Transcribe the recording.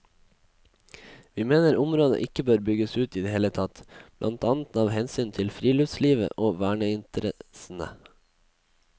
Vi mener området ikke bør bygges ut i det hele tatt, blant annet av hensyn til friluftslivet og verneinteressene.